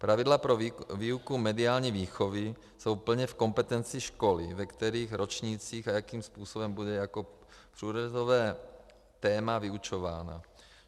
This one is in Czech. Pravidla pro výuku mediální výchovy jsou plně v kompetenci školy, ve kterých ročnících a jakým způsobem bude jako průřezové téma vyučována.